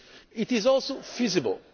actors. It is also feasible.